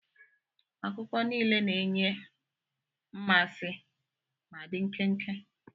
Akụkọ niile na-enye mmasị ma dị nkenke.